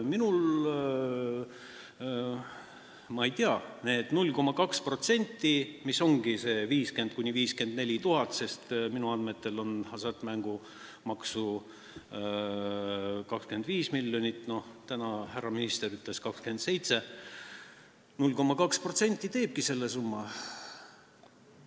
Ma ei tea, see 0,2% ongi see 50 000 – 54 000, sest minu andmetel laekub hasartmängumaksu 25 miljonit, täna härra minister ütles, et 27 miljonit, ja 0,2% ongi see summa.